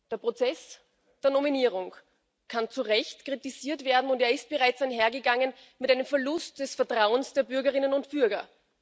Der Prozess der Nominierung kann zu Recht kritisiert werden, und er ist bereits einhergegangen mit einem Verlust des Vertrauens der Bürgerinnen und Bürger.